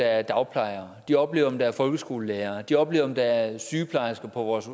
er dagplejere de oplever om der er folkeskolelærere de oplever om der er sygeplejersker på vores